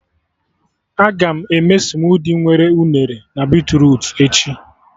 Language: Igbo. Agam eme smudi nwere unere na beetrutu echi